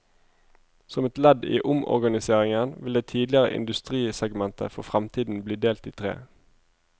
Som et ledd i omorganiseringen, vil det tidligere industrisegmentet for fremtiden bli delt i tre.